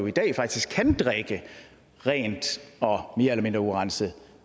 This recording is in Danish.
i dag faktisk kan drikke rent og mere eller mindre urenset